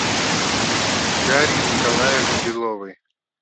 дарье николаевне беловой